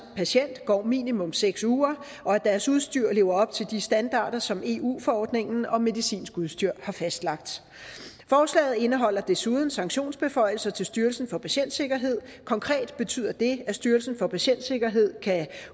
patient går minimum seks uger og at deres udstyr lever op til de standarder som eu forordningen om medicinsk udstyr har fastlagt forslaget indeholder desuden sanktionsbeføjelser til styrelsen for patientsikkerhed konkret betyder det at styrelsen for patientsikkerhed kan